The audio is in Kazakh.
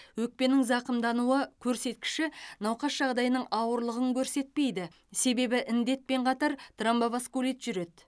өкпенің зақымдануы көрсеткіші науқас жағдайының ауырлығын көрсетпейді себебі індетпен қатар тромбоваскулит жүреді